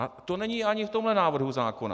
A to není ani v tomto návrhu zákona.